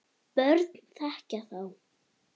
börn þekkja þá.